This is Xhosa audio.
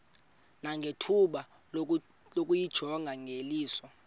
nangethuba lokuyijonga ngeliso